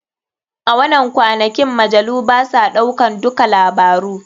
A wanan kwanakin majalu basa ɗaukan dukka labaru.